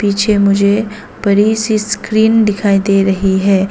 पीछे मुझे बड़ी सी स्क्रीन दिखाई दे रही है।